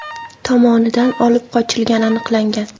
tomonidan olib qochilgani aniqlangan.